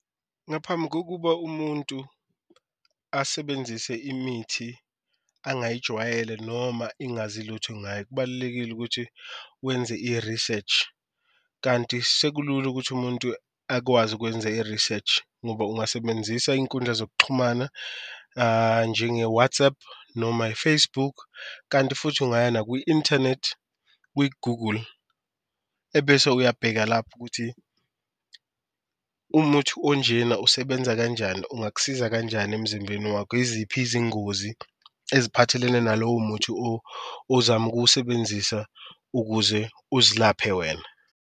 Ngaphambi kokuba umuntu asebenzise imithi angiyijwayele noma ingazi lutho ngayo kubalulekile ukuthi wenze i-research, kanti sekulula ukuthi umuntu akwazi ukwenza i-research ngoba ungasebenzisa inkundla zokuxhumana njenge-WhatsApp noma i-Facebook. Kanti futhi ungaya nakwi-inthanethi kwi-Google ebese uyabheka lapho ukuthi umuthi onjena usebenza kanjani, ungakusiza kanjani emzimbeni wakho, iziphi izingozi eziphathelene nalowo muthi ozama ukuwusebenzisa ukuze uzilaphe wena.